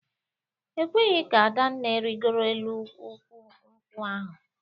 E kweghị ka Adanne rịgoro elu ukwu nkwụ ahụ